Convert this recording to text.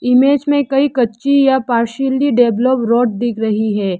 Image में कई कच्ची या पार्शियली डेवलप्ड रोड दिख रही है।